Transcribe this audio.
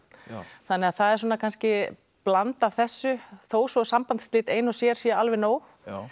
það er kannski blanda af þessu þó svo að sambandsslit ein og sér séu alveg nóg